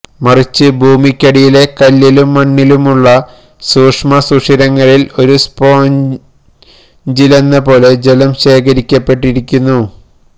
മറിച്ച് ഭൂമിക്കടിയിലെ കല്ലിലും മണ്ണിലുമുള്ള സൂക്ഷ്മ സുഷിരങ്ങളില് ഒരു സ്പോഞ്ചിലെന്ന പോലെ ജലം ശേഖരിക്കപ്പെട്ടിരിക്കുന്നു